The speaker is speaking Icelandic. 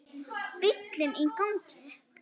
Bíllinn í gangi.